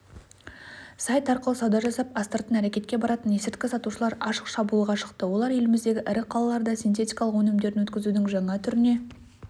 сайт арқылы сауда жасап астыртын әрекетке баратын есірткі сатушылар ашық шабуылға шықты олар еліміздегі ірі қалаларда синтетикалық өнімдерін өткізудің жаңа түріне